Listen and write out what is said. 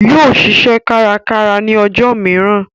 Yóò ṣiṣẹ́ kárakára ní ọjọ́ mìíràn